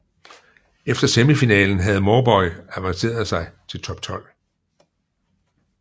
Efter semifinalen havde Mauboy avancerede sig til top tolv